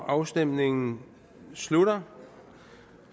afstemningen slutter